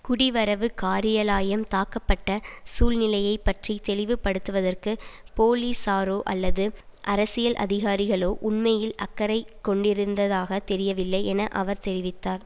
குடிவரவு காரியலாயம் தாக்கப்பட்ட சூழ்நிலையை பற்றி தெளிவுபடுத்துவதற்கு பொலிசாரோ அல்லது அரசியல் அதிகாரிகளோ உண்மையில் அக்கறை கொண்டிருந்ததாக தெரியவில்லை என அவர் தெரிவித்தார்